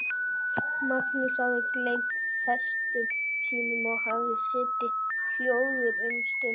Magnús hafði gleymt hestum sínum og hafði setið hljóður um stund.